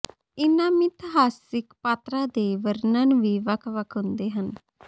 ਇਹਨਾਂ ਮਿਥਿਹਾਸਿਕ ਪਾਤਰਾਂ ਦੇ ਵਰਣਨ ਵੀ ਵੱਖ ਵੱਖ ਹੁੰਦੇ ਹਨ